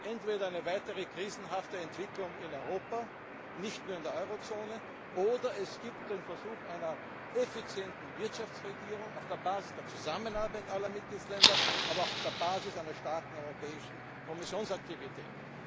Es gibt entweder eine weitere krisenhafte Entwicklung in Europa nicht nur in der Eurozone oder es gibt den Versuch einer effizienten Wirtschaftsregierung auf der Basis der Zusammenarbeit aller Mitgliedstaaten, aber auch auf der Basis einer starken europäischen Kommissionsaktivität.